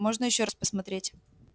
можно ещё раз посмотреть